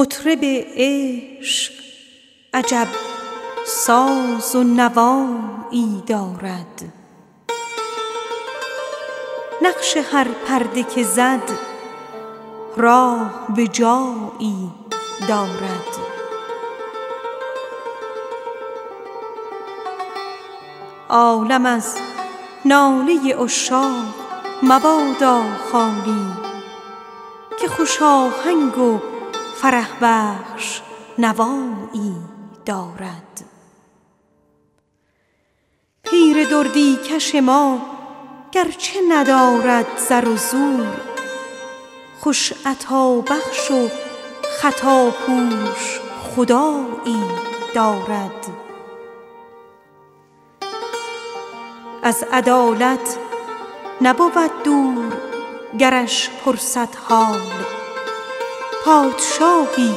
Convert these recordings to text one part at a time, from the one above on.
مطرب عشق عجب ساز و نوایی دارد نقش هر نغمه که زد راه به جایی دارد عالم از ناله عشاق مبادا خالی که خوش آهنگ و فرح بخش هوایی دارد پیر دردی کش ما گرچه ندارد زر و زور خوش عطابخش و خطاپوش خدایی دارد محترم دار دلم کاین مگس قندپرست تا هواخواه تو شد فر همایی دارد از عدالت نبود دور گرش پرسد حال پادشاهی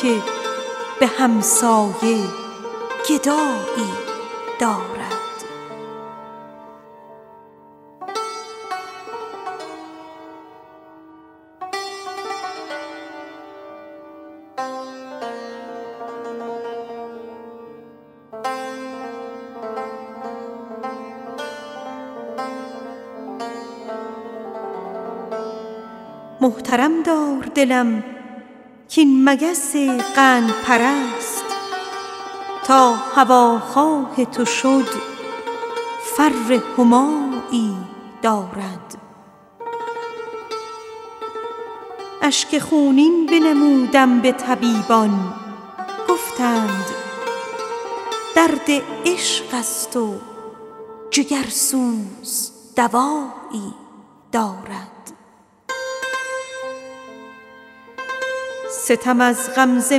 که به همسایه گدایی دارد اشک خونین بنمودم به طبیبان گفتند درد عشق است و جگرسوز دوایی دارد ستم از غمزه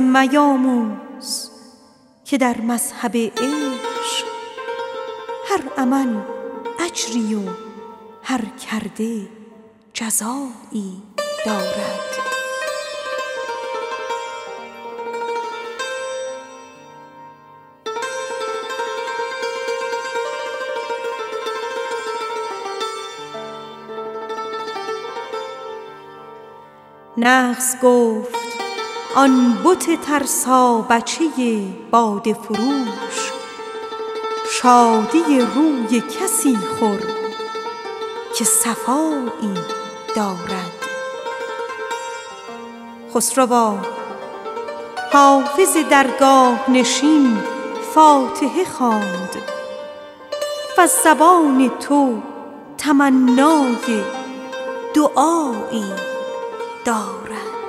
میاموز که در مذهب عشق هر عمل اجری و هر کرده جزایی دارد نغز گفت آن بت ترسابچه باده پرست شادی روی کسی خور که صفایی دارد خسروا حافظ درگاه نشین فاتحه خواند وز زبان تو تمنای دعایی دارد